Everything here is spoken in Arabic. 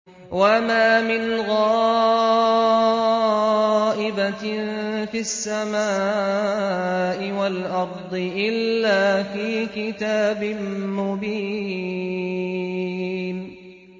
وَمَا مِنْ غَائِبَةٍ فِي السَّمَاءِ وَالْأَرْضِ إِلَّا فِي كِتَابٍ مُّبِينٍ